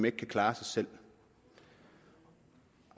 ikke kan klare sig selv